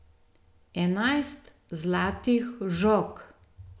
Enajst zlatih žog!